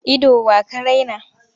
Ido wa ka raina?